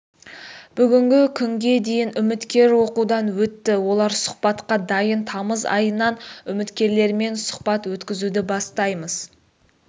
бүгінгі күнге дейін үміткер оқудан өтті олар сұхбатқа дайын тамыз айынан үміткерлермен сұхбат өткізуді бастаймыз